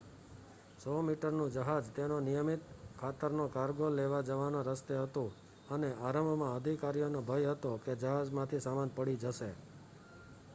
100-મીટરનું જહાજ તેનો નિયમિત ખાતરનો કાર્ગો લેવા જવાના રસ્તે હતું અને આરંભમાં અધિકારીઓને ભય હતો કે જહાજમાંથી સામાન પડી જશે